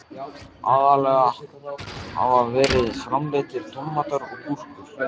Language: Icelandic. Aðallega hafa verið framleiddir tómatar og gúrkur.